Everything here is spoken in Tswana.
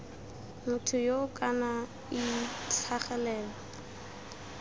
motho yoo kana ii tlhagelelo